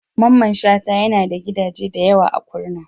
Mamman Shata yana da gidaje da yawa a Kurna.